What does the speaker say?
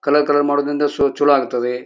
Colour colour ಮಾಡುವುದರಿಂದ show ಚಲೋ ಆಗ್ತದೆ.